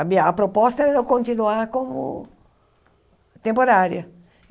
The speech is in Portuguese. A minha a proposta era continuar como temporária.